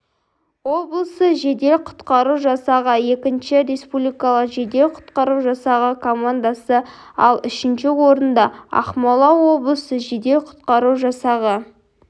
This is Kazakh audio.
облысы жедел-құтқару жасағы екінші республикалық жедел-құтқару жасағы командасы ал үшінші орында ақмола облысы жедел-құтқару жасағы